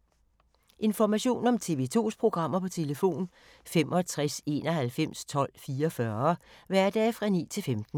Information om TV 2's programmer: 65 91 12 44, hverdage 9-15.